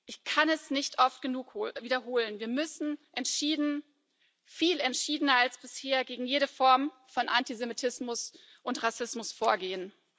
Ich kann es nicht oft genug wiederholen Wir müssen entschieden, viel entschiedener als bisher, gegen jede Form von Antisemitismus und Rassismus vorgehen.